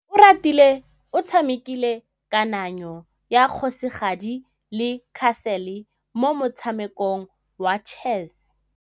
Oratile o tshamekile kananyô ya kgosigadi le khasêlê mo motshamekong wa chess.